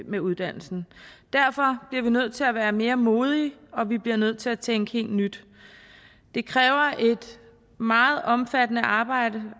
med uddannelsen derfor bliver vi nødt til at være mere modige og vi bliver nødt til at tænke helt nyt det kræver et meget omfattende arbejde